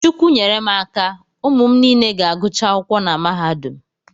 Chukwu nyere m aka, ụmụ niile ga-agụcha akwụkwọ na mahadum